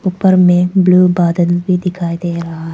उपर में ब्लू बादल भी दिखाई दे रहा--